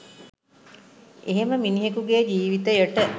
එහෙම මිනිහෙකුගේ ජීවිතයට